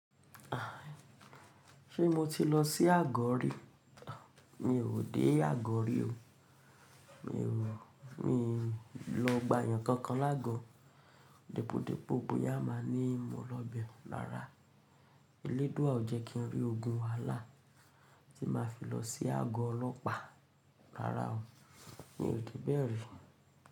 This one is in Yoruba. Ṣé mo ti lọ sí àgọ́ rí? Mi ò dé àgọ́ rí o. Mi ò, mi lọ gba èyàn kankan lágo. Dípódípóò bóyá máa ní mo lọ bẹ̀ lára. Eléédùá ò jẹ́ kí n rí ogun wàhálà tí máa fi lọ sí àgọ́ olọ́pá rára o. Mi ò dé bẹ̀ẹ̀ri.